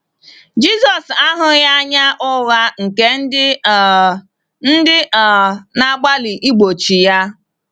Jisọs ahụghị anya ụgha nke ndị um ndị um na-agbalị igbochi ya.